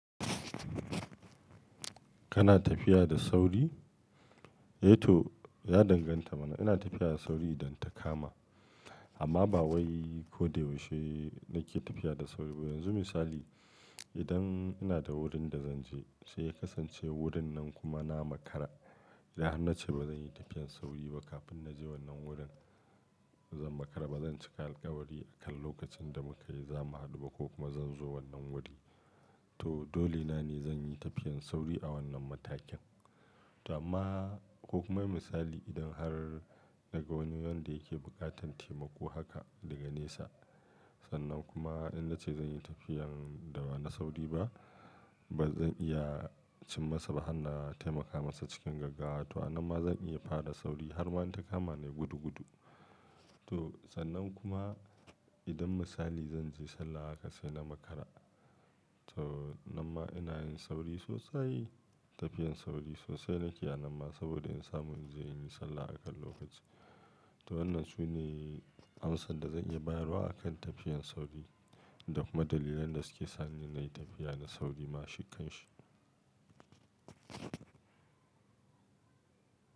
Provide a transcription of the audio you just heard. Kana tafiya da sauri? Ehhh toh ya danganta mana. Ina tafiya da sauri idan ta kama, amma ba wai ko da yaushe nake tafiya da sauri ba. Yanzu misali, idan ina da wurin da zan je sai ya kasance wurin nan kuma na makara, idan har na ce ba zan yi tafiyan sauri ba kafin na je wannan wurin, zan makara ba zan cika alkawari akan lokacin da muka yi za mu haɗu ba ko kuma zan zo wannan wuri. To dole na ne zan yi tafiyan sauri a wannan matakin. To amma ko kuma misali idan har daga wani wanda yake buƙatan taimako haka daga nesa, sannan kuma in na ce zan yi tafiyan da ba na sauri ba, ba zan iya cim masa ba har na taimaka masa cikin gaggawa. To amma zan iya faɗa da sauri har ma in ta kama ni gudu gudu. To sannan kuma idan misali zan je sallah haka sai na makara. To amma ina yin sauri sosai, tafiyan sauri sosai nake a nan ma saboda in samu in je in yi sallah akan lokaci. To wannan sune amsar da zan iya bayarwa akan tafiyan sauri da kuma dalilan da suke sa ni na yi tafiya da sauri ma shikkun shi.